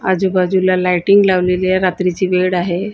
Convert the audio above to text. आजूबाजूला लाइटिंग लावलेली आहे. रात्रीची वेळ आहे.